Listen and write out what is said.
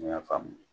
N y'a faamu